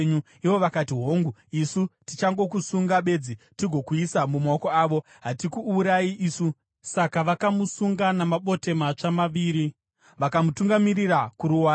Ivo vakati, “Hongu, isu tichangokusunga bedzi tigokuisa mumaoko avo. Hatikuurayi isu.” Saka vakamusunga namabote matsva maviri vakamutungamirira kuruware.